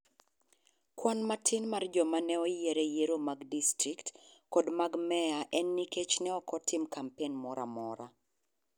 Kwan matin mar joma ne oyier e yiero mag distrikt kod mag meya en nikech ne ok otim kampen moro amora.